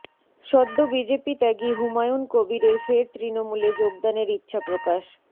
সদ্য বিজেপি ত্যাগী হুমায়ুন কবীরের ফের তৃণমূলে যোগদানের ইচ্ছাপ্রকাশ